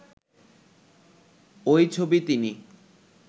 ওই ছবি তিনি